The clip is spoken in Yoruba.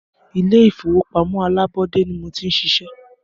Ilé ìfọwọ́pamó alábọ́dé ní mo ti ń ṣiṣẹ́.